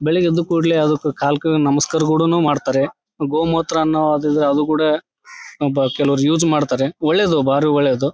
ಬೆಳ್ಳಗೆ ಎದ್ದ ಕೂಡಲೇ ನಮಸ್ಕಾರ ಕೂಡನು ಮಾಡತ್ತಾರೆ. ಗೋಮೂತ್ರನು ಅದು ಕೂಡೆ ಅ ಬ ಕೆಲವ್ರು ಯೂಸ್ ಮಾಡತ್ತರೆ ಒಳ್ಳೇದು ಬಾರಿ ಒಳ್ಳೇದು.